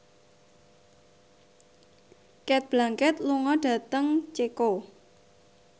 Cate Blanchett lunga dhateng Ceko